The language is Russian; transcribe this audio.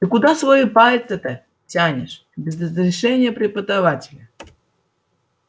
ты куда свои пальцы-то тянешь без разрешения преподавателя